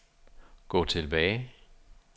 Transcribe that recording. gå tilbage